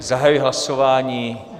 Zahajuji hlasování.